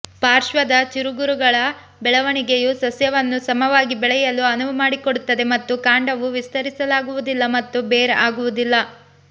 ಪಾರ್ಶ್ವದ ಚಿಗುರುಗಳ ಬೆಳವಣಿಗೆಯು ಸಸ್ಯವನ್ನು ಸಮವಾಗಿ ಬೆಳೆಯಲು ಅನುವು ಮಾಡಿಕೊಡುತ್ತದೆ ಮತ್ತು ಕಾಂಡವು ವಿಸ್ತರಿಸಲಾಗುವುದಿಲ್ಲ ಮತ್ತು ಬೇರ್ ಆಗುವುದಿಲ್ಲ